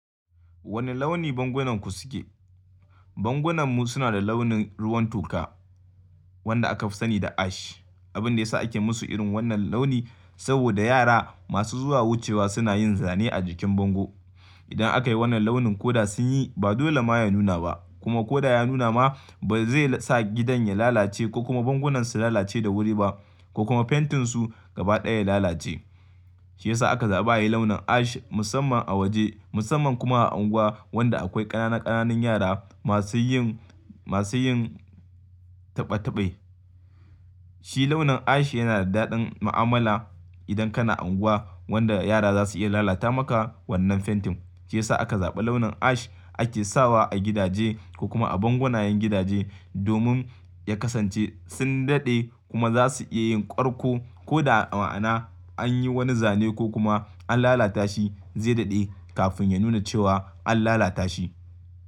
Wane launi bangunanku suke? Bangunanmu suna da launin ruwan toka wanda aka fi sani da ash. Abin da ya sa ake musu irin wannan launi saboda yara masu zuwa wucewa suna yin zane a jikin bango. Idan aka yi wannan launin ko da sun yi ba dole ma ya nuna ba kuma ko da ya nuna ma ba zai sa gidan ya lalace ko kuma bangonan su lalace da wuri ba ko kuma fentin su gaba ɗaya ya lalace. Shi ya sa aka zaɓa ayi launin ash musamman a waje musamman kuma a unguwa wanda akwai ƙananan ƙananan yara masu yin, masu yin taɓa taɓai. Shi launin ash yana da daɗin ma'amala idan kana unguwa wanda yara za su iya lalata maka wannan fentin. Shi ya sa aka zaɓa launin ash ake sawa a gidaje ko kuma a bangonayen gidaje domin ya kasance sun daɗe kuma za su iya yin ƙarko ko da a ma'ana an yi wani zane ko kuma an lalata shi zai daɗe kafin ya nuna cewa an lalata shi.